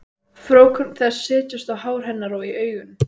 Frjókorn þess setjast á hár hennar og í augun.